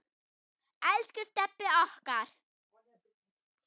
Elsku Stebbi okkar.